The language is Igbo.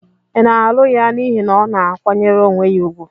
Ị na-alụ ya n'ihi na ọ na-akwanyere onwe ya ùgwù?